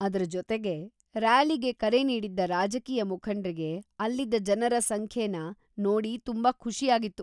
ಅದ್ರ ಜೊತೆಗೆ, ರ್ಯಾಲಿಗೆ ಕರೆ ನೀಡಿದ್ದ ರಾಜಕೀಯ ಮುಖಂಡ್ರಿಗೆ ಅಲ್ಲಿದ್ದ ಜನರ ಸಂಖ್ಯೆನ ನೋಡಿ ತುಂಬಾ ಖುಷಿಯಾಗಿತ್ತು.